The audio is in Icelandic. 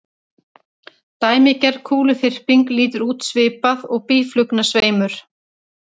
Dæmigerð kúluþyrping lítur út svipað og býflugnasveimur.